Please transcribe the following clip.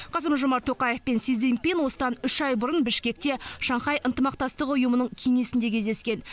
қасым жомарт тоқаев пен си цзиньпин осыдан үш ай бұрын бішкекте шанхай ынтымақтастық ұйымының кеңесінде кездескен